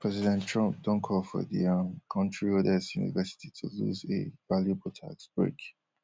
president trump don call for di um kontri oldest university to lose a valuable tax break